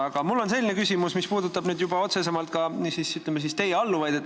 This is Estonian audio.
Aga mul on küsimus, mis puudutab juba otsesemalt ka teie alluvaid.